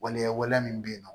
Waleya waleya min bɛ yen nɔ